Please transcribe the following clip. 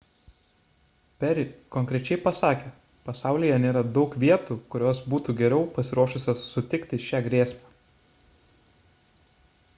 perry konkrečiai pasakė pasaulyje nėra daug vietų kurios būtų geriau pasiruošusios sutikti šią grėsmę